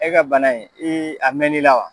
E ka bana in ii a mɛn'i la wa?